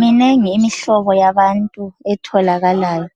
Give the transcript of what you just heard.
Minengi imihloba yabantu etholakalayo.